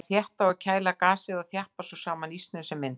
Þær þétta og kæla gasið og þjappa svo saman ísnum sem myndast.